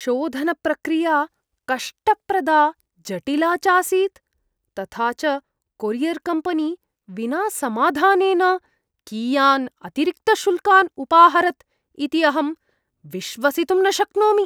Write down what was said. शोधनप्रक्रिया कष्टप्रदा जटिला चासीत्, तथा च कोरियर्कम्पनी विना समाधानेन कियान् अतिरिक्तशुल्कान् उपाहरत् इति अहं विश्वसितुं न शक्नोमि।